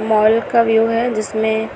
Mall का view है। जिसमें